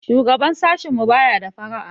Shugaban sashinmu baya da fara'a.